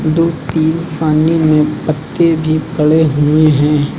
दो तीन पानी में पत्ते भी पड़े हुए हैं।